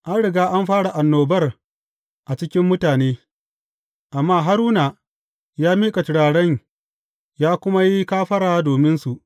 An riga an fara annobar a cikin mutane, amma Haruna ya miƙa turaren ya kuma yi kafara dominsu.